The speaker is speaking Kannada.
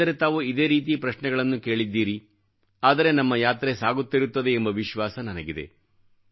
ಏಕೆಂದರೆ ತಾವು ಇದೇ ರೀತಿ ಪ್ರಶ್ನೆಗಳನ್ನು ಕೇಳಿದ್ದೀರಿ ಆದರೆ ನಮ್ಮ ಯಾತ್ರೆ ಸಾಗುತ್ತಿರುತ್ತದೆ ಎಂಬ ವಿಶ್ವಾಸ ನನಗಿದೆ